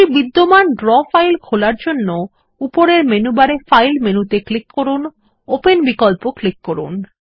একটি বিদ্যমান draw file খোলার জন্য উপরের মেনু বারে ফাইল মেনুতে ক্লিক করুন ওপেন বিকল্পে ক্লিক করুন